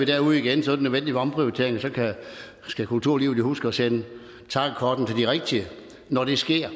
derude igen så er det nødvendigt med omprioritering og så skal kulturlivet jo huske at sende takkekortene til de rigtige når det sker